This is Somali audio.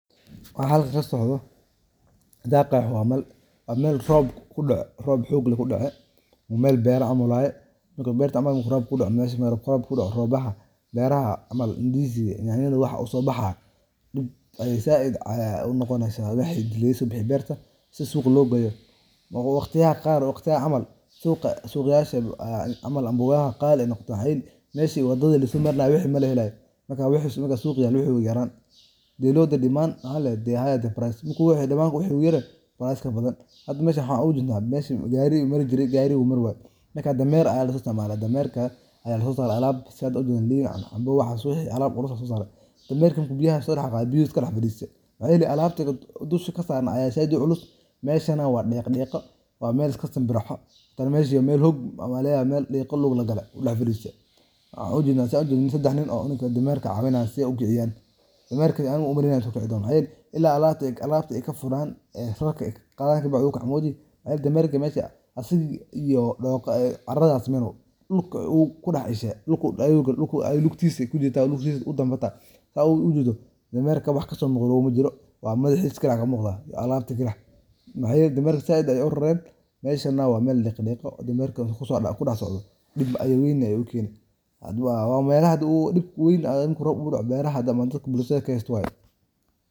Waxa halka kasocodo daaqa waa meel roob xoog leh kudece meel beera canal waye. Marka beerta camal waaye marka beera kudocoesha maaragt roob kudoco rooblaha beeraha camanya ndizi nyanyadha waxaa usoobaxaya dib ayee zaid unoqoneysa waxey dileysa beerta si suuq loogeyo. Waqtiyaha qaar waqtiyahan camal suuq yaasha camal amboogaha qaali ayeey noqdan mxa yeli meshu wadadga lasoomarinaye wixi malahelayo marka wixi suuqa Yale wixi uu yaraan. The lower the demand mxaa ladehe the higher the price marka wixi damaan wixi u years waa iskabadhan. Hada meshan waxaa ugajedna mesha gari Mari jire gari umari waye marka dameeraha ayaa laisticmale dameerka ayaa lagusoorare alaab sidhaad ujedhaan canbo waxaa wixi alaab lagusoorare. Dameerka marku biyaha sorace biyaha uu iskadax fadiiste alaabti dusha kasarna ayaa said uculus mesha neh waa diqodiiqo waa meel iskasimbirixo waa meshan meel hog maleya Mel diiqo lug lagale daxfadiiste. Waxan ujedna saan ujedni sedax nin oo cunuga dameerka caawinayo si eey ukiciyaan. Dameerka umamaleynayi in uu sii kici doono heer ila alaabti ey kafuraan ee sokicikara. Dameerka mesha asiga iyo dooqa aye caradha siman dulka uu kudax ishe dulka kujirte biya udambe hata. Dameerka wax kasoomuqdo bo majiro waa madhaxiis kalix Aya kamuqda iyo alabta kalix maxayeli dameerka said ayee urareen mesha neh waa diqodiiqo dameerka kudaxsocdo bid weyn ayee ukeeni. Hadba waa melaha hada dibkas weyn marka uu rob kudoco beeraha damaan ee bulshada kahesato waye